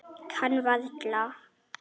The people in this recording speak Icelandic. Kann varla.